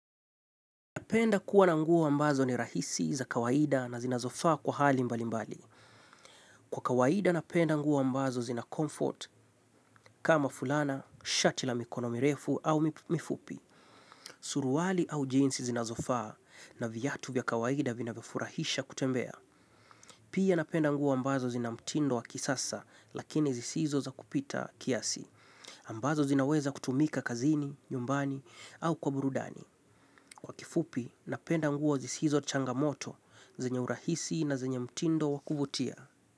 Napenda kuwa na nguo ambazo ni rahisi za kawaida na zinazofaa kwa hali mbali mbali. Kwa kawaida napenda nguo ambazo zina comfort kama fulana, shati la mikono mirefu au mifupi. Suruwali au jeans zinazofaa na viatu vya kawaida vinavyofurahisha kutembea. Pia napenda nguo ambazo zina mtindo wa kisasa lakini zisizo za kupita kiasi. Ambazo zinaweza kutumika kazini, nyumbani au kwa burudani. Kwa kifupi napenda nguo zisizo changamoto. Zenye urahisi na zenye mtindo wa kuvutia.